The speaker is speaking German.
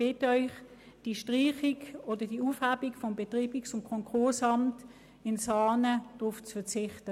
Ich bitte Sie, auf die Aufhebung des Betreibungs- und Konkursamts in Saanen zu verzichten.